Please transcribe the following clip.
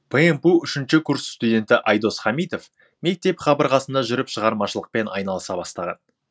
пмпу үшінші курс студенті айдос хамитов мектеп қабырғасында жүріп шығармашылықпен айналыса бастаған